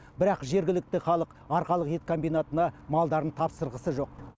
бірақ жергілікті халық арқалық ет комбинатына малдарын тапсырғысы жоқ